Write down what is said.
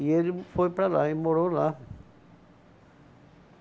E ele foi para lá, ele morou lá.